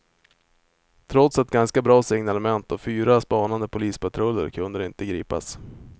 Trots ganska bra signalement och fyra spanande polispatruller kunde de inte gripas.